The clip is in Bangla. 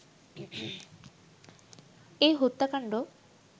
এ হত্যাকাণ্ড